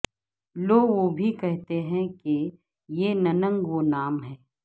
لو وہ بھی کہتے ہیں کہ یہ ننگ و نام ہے